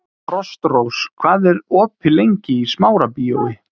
Frostrós, hvað er opið lengi í Smárabíói?